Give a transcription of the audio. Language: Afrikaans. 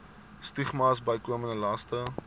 stigmas bykomende laste